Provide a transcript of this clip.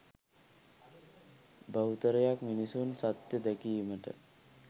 බහුතරයක් මිනිසුන් සත්‍ය දැකීමට